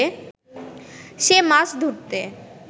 সে মাছ ধরতে